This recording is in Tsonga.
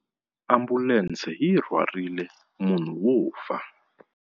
Ambulense yi rhwarile munhu wo fa.